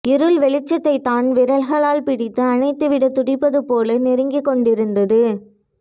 இருள் வெளிச்சத்தை தன் விரல்களால் பிடித்து அணைத்துவிட துடிப்பதைப்போல நெருங்கிக் கொண்டிருந்தது